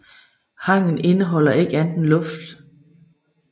Hangen indeholder ikke andet end luft